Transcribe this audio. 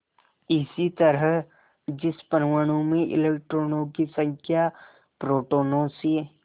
इसी तरह जिस परमाणु में इलेक्ट्रॉनों की संख्या प्रोटोनों से